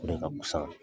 O de ka fisa